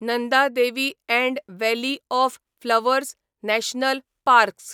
Nanda Devi and valley of flowers national parks